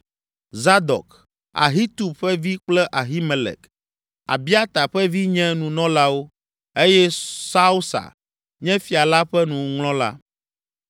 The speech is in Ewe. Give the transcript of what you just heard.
Zadok, Ahitub ƒe vi kple Ahimelek, Abiata ƒe vi nye nunɔlawo eye Sausa nye fia la ƒe nuŋlɔla.